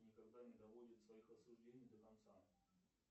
никогда не доводит своих рассуждений до конца